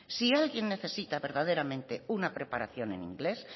si alguien necesita verdaderamente una preparación en inglés